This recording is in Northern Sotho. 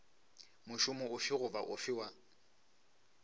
mošomo ofe goba ofe wa